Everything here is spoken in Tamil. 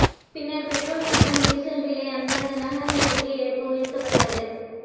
பின்னர் பெட்ரோல் மற்றும் டீசல் விலை அந்தந்த நகரங்களுக்கு ஏற்ப உயர்த்தப் பட்டது